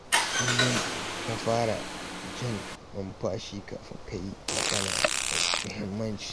Kullum ka fara jan numfashi kafin ka yi magana mai muhimmanci